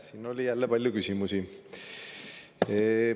Siin oli jälle palju küsimusi.